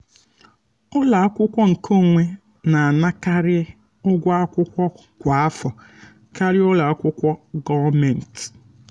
ụlọ akwụkwọ nkeonwe na-anakarị ụgwọ akwụkwọ kwa afọ karịa ụlọ akwụkwọ um gọọmentị